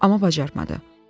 Amma bacarmadı.